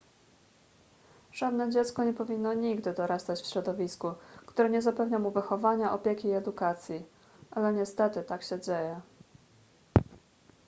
żadne dziecko nie powinno nigdy dorastać w środowisku które nie zapewnia mu wychowania opieki i edukacji ale niestety tak się dzieje